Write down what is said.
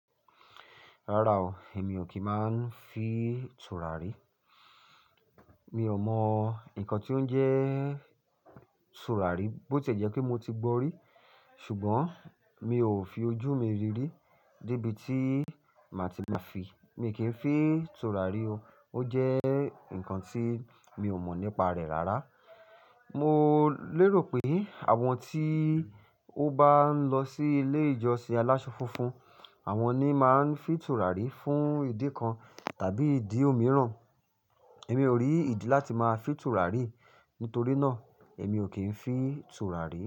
Rárá o, èmi ò kí ń máa ń fi tùràrí. Mi ò mọ nǹkan tí ó ń jẹ́ tùràrí bó tìe jẹ́ pé mo ti gbọ́ rí, ṣùgbọ́n mi ò fi ojú mi rí rí. Débi tí màá ti máa fin, mi kì í fin tùràrí o. Ó jẹ́ nǹkan tí mi ò mọ̀ nípa rẹ̀ rárá. Mo lérò pé àwọn tí ó bá ń lọ sí ilé ìjọsìn alásọ funfun, àwọn ni máa ń fì tùràrí fún ìdí kan tàbí ìdí omìíràn. Èmi ò rí ìdí láti máa fìn tùràrí, nítorí náà èmi ò kí ń fìn tùràrí.